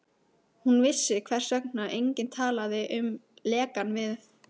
Hún vissi, hvers vegna enginn talaði um lekann við